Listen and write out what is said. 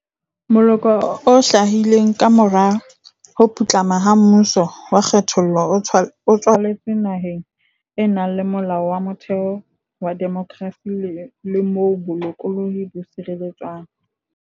Moloko o hlahileng kamora ho putlama ha mmuso wa kgethollo o tswaletswe naheng e nang le Molao wa Motheo wa demokrasi le moo bolokolohi bo sireletswang.